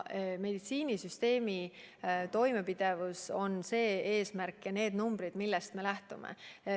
Meditsiinisüsteemi toimepidevus on eesmärk ja need on numbrid, millest me lähtume.